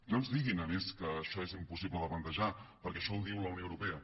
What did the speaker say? no ens diguin a més que això és impossible de plantejar perquè això ho diu la unió europea